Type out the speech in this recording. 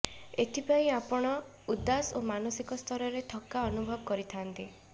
ଏଥିପାଇଁ ଆପଣ ଉଦାସ ଓ ମାନସିକ ସ୍ତରରେ ଥକା ଅନୁଭବ କରିଥାନ୍ତି